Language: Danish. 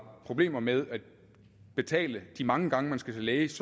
problemer med at betale de mange gange man skal til læge